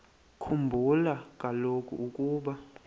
khumbula kaloku ukuba